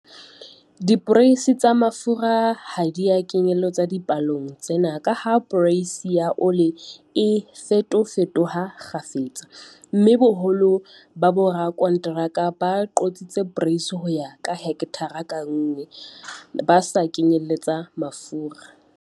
Diporeisi tsa mafura ha di a kenyelletswa dipalong tsena ka ha poreisi ya ole e fetofetoha kgafetsa, mme boholo ba borakonteraka bo qotsa poreisi ho ya ka hekthara ka nngwe, ba sa kenyelletsa mafura.